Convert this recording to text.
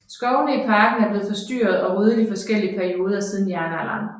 Skovene i parken er blevet forstyrret og ryddet i forskellige perioder siden jernalderen